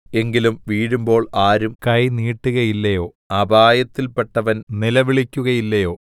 എങ്കിലും വീഴുമ്പോൾ ആരും കൈ നീട്ടുകയില്ലയോ അപായത്തിൽപെട്ടവൻ നിലവിളിക്കുകയില്ലയോ